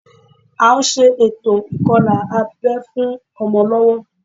À ń ṣe ètò ìkọlà abẹ́ fún ọmọ lọ́wọ́